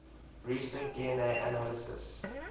recent dna analysis